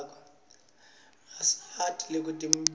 ayasita kwetemphilo